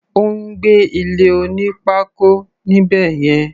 Ó ń gbé ilé oní pákó níbẹ̀ yẹn.